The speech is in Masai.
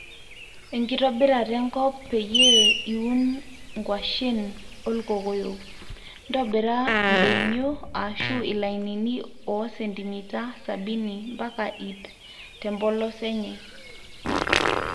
enkitobirata enkop peyie iun nkwashen olkokoyok, ntobira doinyio ashu ilainini o sentimita sabini mpaka iip tempolos enye